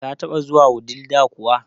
Ka taba zuwa Wudil da kuwa?